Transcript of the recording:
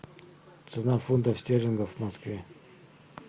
цена фунтов стерлингов в москве